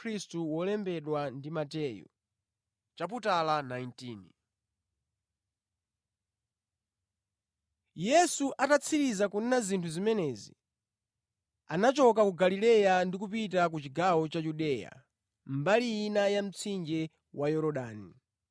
Yesu atatsiriza kunena zinthu zimenezi, anachoka ku Galileya ndi kupita ku chigawo cha Yudeya mbali ina ya mtsinje wa Yorodani.